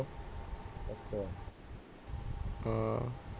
ਅਆਆ